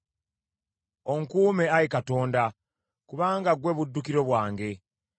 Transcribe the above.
Onkuume, Ayi Katonda, kubanga ggwe buddukiro bwange.